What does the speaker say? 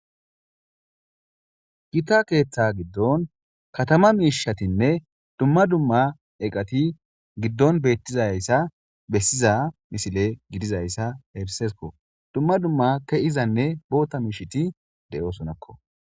Gita keeththa gidon katama miishshatinne dumma dumma iqati gidon betizayisa besiza missile gidizaysa erisesikko dumma dumma keizanne botha miishshati deosonakko.